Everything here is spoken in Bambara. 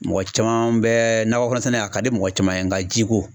Mɔgɔ caman bɛ nakɔ kɔnɔ sɛnɛ a ka di mɔgɔ caman ye nga jiko